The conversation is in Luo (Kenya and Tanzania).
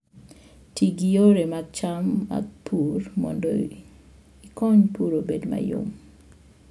Ti gi yore mancham mag pur mondo ikony pur obed mayom